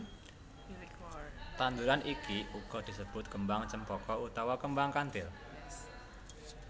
Tanduran iki uga disebut Kembang Cempaka utawa Kembang Kanthil